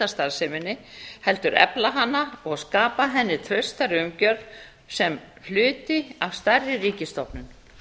starfseminni heldur efla hana og skapa henni traustari umgjörð sem hluta af stærri ríkisstofnun